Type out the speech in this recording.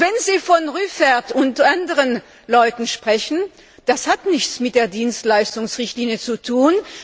Wenn Sie von Rüffert und anderen Leuten sprechen, hat das nichts mit der Dienstleistungsrichtlinie zu tun.